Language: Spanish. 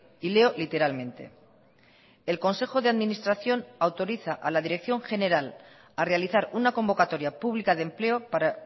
y leo literalmente el consejo de administración autoriza a la dirección general a realizar una convocatoria pública de empleo para